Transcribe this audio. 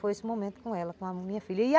Foi esse momento com ela, com a minha filha.